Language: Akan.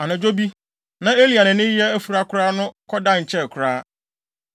Anadwo bi, na Eli a nʼani reyɛ afura koraa no kɔdae nkyɛe koraa.